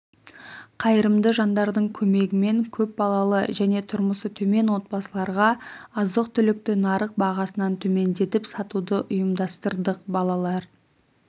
қайырымды жандардың көмегімен көп балалы және тұрмысы төмен отбасыларға азық-түлікті нарық бағасынан төмендетіп сатуды ұйымдастырдық балалар